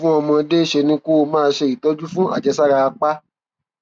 fún ọmọdé ṣe ni kó o máa ṣe ìtọjú fún àjẹsára apá